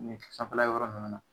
N'u ti sanfɛla yɔrɔ nunnu na.